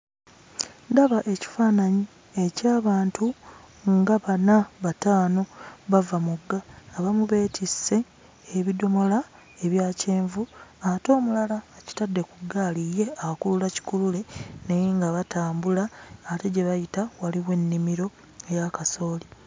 Ndaba ekifaananyi eky'abantu nga bana bataano bava mugga. Abamu beetisse ebidomola ebya kyenvu ate omulala akitadde ku ggaali ye akulula kikulule naye nga batambula. Ate gye bayita waliwo ennimiro eya kasooli.